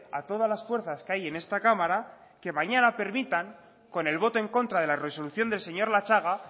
a todas las fuerzas que hay en esta cámara que mañana permitan con el voto en contra de la resolución del señor latxaga